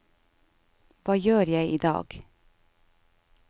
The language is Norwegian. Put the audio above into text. hva gjør jeg idag